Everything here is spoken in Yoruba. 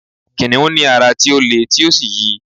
kìnìún ní ara ti o le ti o sí yi